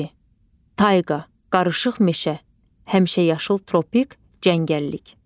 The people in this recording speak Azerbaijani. Tayqa, qarışıq meşə, həmişəyaşıl tropik, cəngəllik.